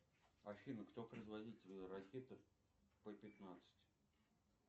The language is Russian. афина кто производитель ракеты п пятнадцать